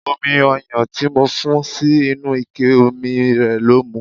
Omi ọyan tí mo fún sí inú ike omi rẹ ló mu.